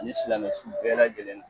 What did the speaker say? Ani silamɛ su bɛɛ lajɛlen